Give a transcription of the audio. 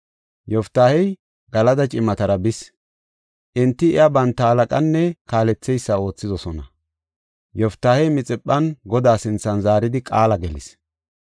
Yoftaahey Galada cimatara bis; enti iya banta halaqanne kaaletheysa oothidosona. Yoftaahey Mixiphan Godaa sinthan zaaridi qaala gelis.